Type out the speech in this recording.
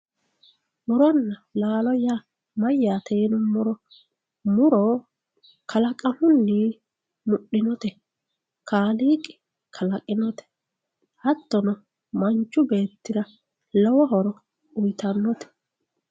Muronna laallo yaa mayatte yinumoro, muro kalqamunni mudhinotte kaaliqqi kalaqinote hatono manichu beettira lowo horo uyitanote